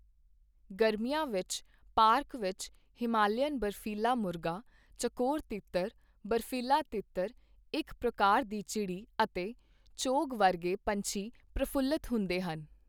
ਗਰਮੀਆਂ ਵਿੱਚ, ਪਾਰਕ ਵਿੱਚ ਹਿਮਾਲੀਅਨ ਬਰਫ਼ੀਲਾ ਮੁਰਗਾ, ਚਕੋਰ ਤਿੱਤਰ, ਬਰਫ਼ੀਲਾ ਤਿੱਤਰ, ਇਕ ਪ੍ਰਕਾਰ ਦੀ ਚਿੜੀ ਅਤੇ ਚੌਗ ਵਰਗੇ ਪੰਛੀ ਪ੍ਰਫੁੱਲਤ ਹੁੰਦੇ ਹਨ।